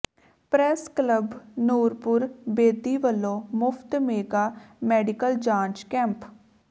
press club Nurpur Bedi ਵਲੋਂ ਮੁਫ਼ਤ mega medical ਜਾਂਚ ਕੈਂਪ